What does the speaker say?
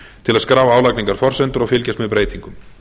til að skrá álagningarforsendur og fylgjast með breytingum